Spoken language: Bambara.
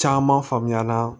Caman faamuyala